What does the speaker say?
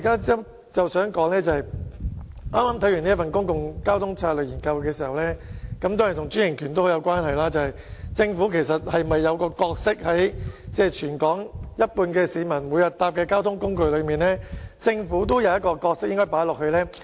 就我剛才提及的《公共交通策略研究》報告，當中固然提及專營權，但我想指出，對於全港有一半市民每天乘搭的交通工具，政府是否應有一個角色呢？